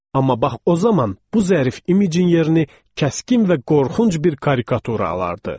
Amma bax o zaman bu zərif incinin yerini kəskin və qorxunc bir karikatura alırdı.